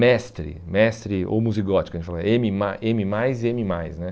Mestre, mestre homozigótica, que a gente fala eme ma eme mais e eme mais né?